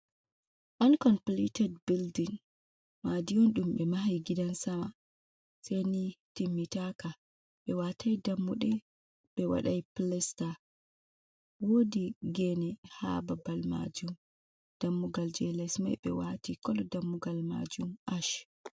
Oon kompiliitet bildin, maadi on ɗum ɓe mahi gidan sama seyni timmitaaka, ɓe waataay dammuɗe, ɓe wadaay pilasta, woodi geene haa babal maajum, dammugal jey les may ɓe waati, kolo dammugal maajum ash.